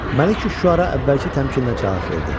Məlikü Şüara əvvəlki təmkinlə cavab verdi.